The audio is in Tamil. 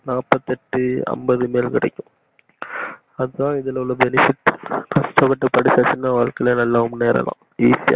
நாப்பத்தி எட்டு அம்பது இது மாதிரி கிடைக்கும் அதா இதுல்ல உள்ள benefit கஷ்ட பட்டு படிச்சாச்சினா வாழ்க்கைல நல்லா முன்னேறலா easy யா